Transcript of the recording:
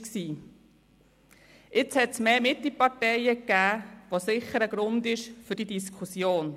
Es gibt jetzt mehr Mitte-Parteien, was sicher ein Grund ist für diese Diskussion.